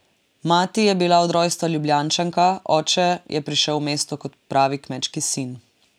Mati je bila od rojstva Ljubljančanka, oče je prišel v mesto kot pravi kmečki sin.